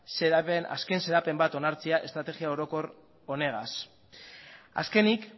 azken xedapen bat onartzea estrategia orokor honegaz azkenik